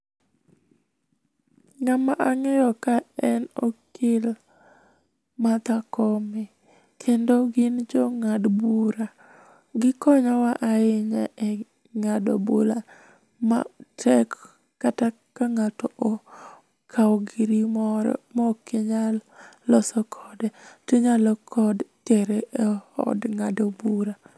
Ng'ama ang'eyo ka en okil Martha Koome, kendo gin jo ng'ad bura. Gikonyowa ahinya e ng'ado bura matek kata ka ng'ato okawo giri moro ma ok inyal loso kode, tinyalo ko tere eod ng'ado bura.